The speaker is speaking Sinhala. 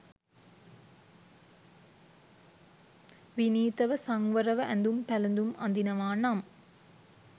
විනීතව සංවරව ඇඳුම් පැළඳුම් අඳිනවා නම්